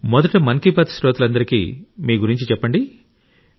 మొదట మన్ కీ బాత్ శ్రోతలందరికీ మీ గురించి చెప్పండి